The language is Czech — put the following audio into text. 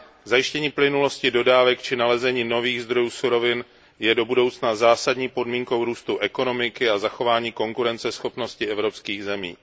Zajištění plynulosti dodávek či nalezení nových zdrojů surovin je do budoucna zásadní podmínkou růstu ekonomiky a zachování konkurenceschopnosti evropských zemí.